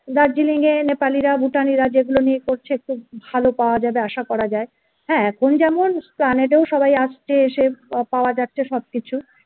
darjeeling এ Nepal ইরা Bhutan ইরা যেগুলো নিয়ে করছে খুব ভালো পাওয়া যাবে আশা করা যায় হ্যাঁ এখন যেমন সবাই আসছে এসে পাওয়া যাচ্ছে সব কিছু